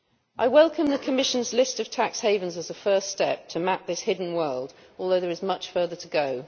I welcome the Commission's list of tax havens as a first step to map this hidden world, although there is much further to go.